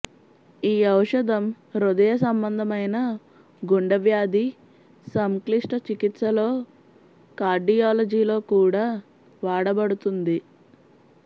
ఈ ఔషధం హృదయ సంబంధమైన గుండె వ్యాధి సంక్లిష్ట చికిత్సలో కార్డియాలజీలో కూడా వాడబడుతుంది